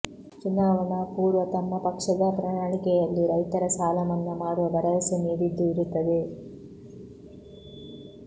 ಚುನಾವಣಾ ಪೂರ್ವ ತಮ್ಮ ಪಕ್ಷದ ಪ್ರಣಾಳಿಕೆಯಲ್ಲಿ ರೈತರ ಸಾಲಮನ್ನಾ ಮಾಡುವ ಭರವಸೆ ನೀಡಿದ್ದು ಇರುತ್ತದೆ